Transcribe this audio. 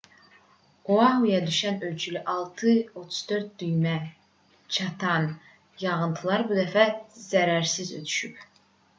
oahuya düşən ölçüsü 6,34 düymə çatan yağıntılar bu dəfə zərərsiz ötüşüb